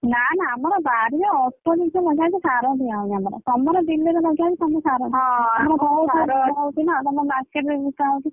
ନା ନା ଆମର ବାରିରେ ଅଳ୍ପ ଜିନିଷ ଲଗା ହେଇଛି ସାର ଦିଆ ହଉନି ଆମର ତମର ବିଲରେ ଲଗା ହେଇହି ତମର ସାର ତମର market ରେ ବିକା ହଉଛି।